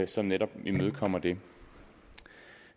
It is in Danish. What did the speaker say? som netop imødekommer det